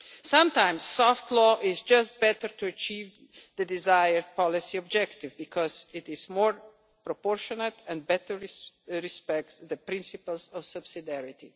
Sometimes soft law is just better to achieve the desired policy objective because it is more proportionate and better respects the principles of subsidiarity.